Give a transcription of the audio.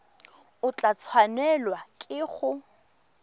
o tla tshwanelwa ke go